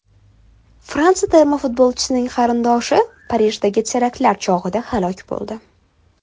Fransiya termasi futbolchisining qarindoshi Parijdagi teraktlar chog‘ida halok bo‘ldi.